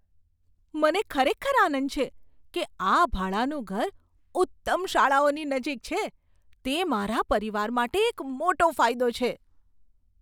મને ખરેખર આનંદ છે કે આ ભાડાનું ઘર ઉત્તમ શાળાઓની નજીક છે. તે મારા પરિવાર માટે એક મોટો ફાયદો છે.